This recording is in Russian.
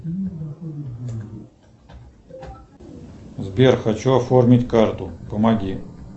сбер хочу оформить карту помоги